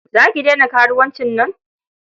Za ki daina karuwancin nan?